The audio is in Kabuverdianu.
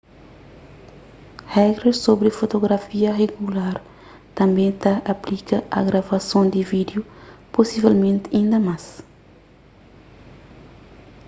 regras sobri fotografia rigular tanbê ta aplika a gravason di vídiu pusivelmenti inda más